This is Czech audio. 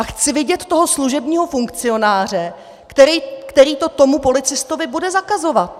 A chci vidět toho služebního funkcionáře, který to tomu policistovi bude zakazovat.